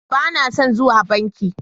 Ba na son zuwa bankin